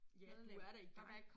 Ja du er da i gang